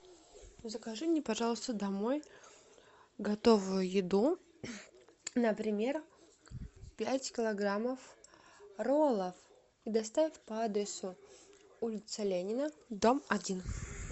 закажи мне пожалуйста домой готовую еду например пять килограммов роллов и доставь по адресу улица ленина дом один